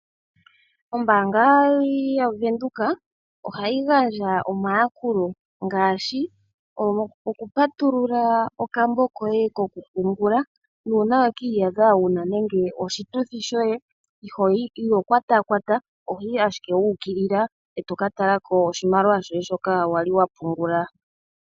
Ombaanga ya Venduka ohayi gandja omayakulo ngaashi oku patulula okambo koye koku pungula , nuna weki yadha wuna nenge oshituthi shoye iho kwatakwata ohoyi ashike wuukilila eto ka talakako oshimaliwa shoye shoka wali wapungula.